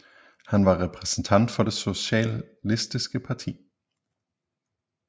Han var repræsentant for Det Socialistiske Parti